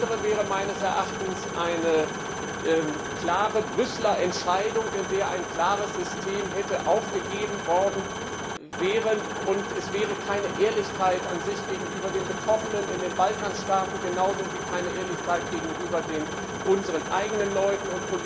Alles andere wäre meines Erachtens eine klare Brüsseler Entscheidung, in der ein klares System aufgegeben worden wäre, und es gäbe keine Ehrlichkeit gegenüber den Betroffenen in den Balkanstaaten, genauso wenig wie gegenüber unseren eigenen Leuten.